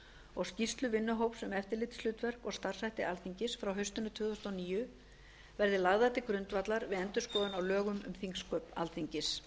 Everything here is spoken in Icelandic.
og skýrsla vinnuhóps um eftirlitshlutverk og starfshætti alþingis frá haustinu tvö þúsund og níu verði lagðar til grundvallar við endurskoðun á lögum um þingsköp alþingis